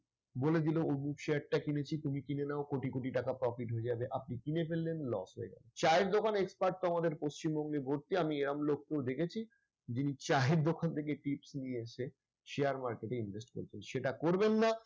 বলে দিল অমুক share টা কিনেছি তুমি কিনে নাও। কোটি কোটি টাকা profit হয়ে যাবে। আপনি কিনে ফেললেন loss হয়ে গেল। চায়ের দোকানে expert তো আমাদের পশ্চিমবঙ্গে ভরতি। আমি এরকম লোককেও দেখেছি যিনি চায়ের দোকান থেকে tips নিয়ে এসে share market এ invest করছেন। সেটা করবেন না